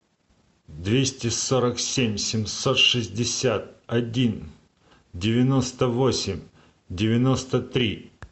двести сорок семь семьсот шестьдесят один девяносто восемь девяносто три